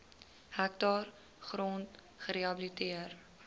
hektaar grond gerehabiliteer